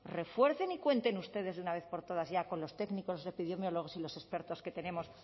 refuercen y cuenten ustedes de una vez por todas ya con los técnicos epidemiólogos y los expertos que tenemos